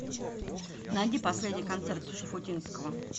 найди последний концерт шуфутинского